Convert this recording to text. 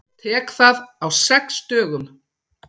Tek það á sex dögum.